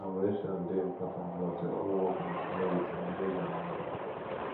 collaboration dey important but your own work na priority manage am well